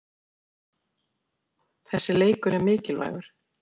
Þessi leikur er mikilvægur.